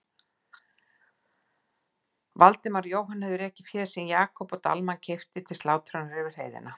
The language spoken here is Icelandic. Valdimar og Jóhann höfðu rekið féð sem Jakob Dalmann keypti til slátrunar yfir heiðina.